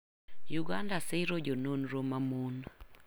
Uganda siro jononro ma mon.